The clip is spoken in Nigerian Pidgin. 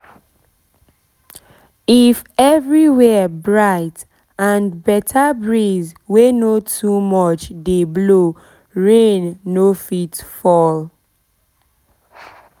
if everywhere bright and better breeze wey no too much dey blow rain no fit fall